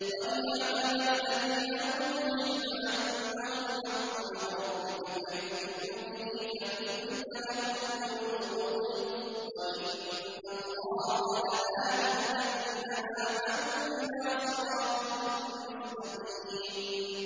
وَلِيَعْلَمَ الَّذِينَ أُوتُوا الْعِلْمَ أَنَّهُ الْحَقُّ مِن رَّبِّكَ فَيُؤْمِنُوا بِهِ فَتُخْبِتَ لَهُ قُلُوبُهُمْ ۗ وَإِنَّ اللَّهَ لَهَادِ الَّذِينَ آمَنُوا إِلَىٰ صِرَاطٍ مُّسْتَقِيمٍ